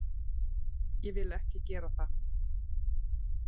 Ég vil ekki gera það.